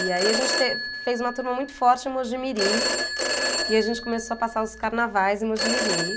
E aí a gente tê, fez uma turma muito forte em Mogi Mirim, e a gente começou a passar os carnavais em Mogi Mirim.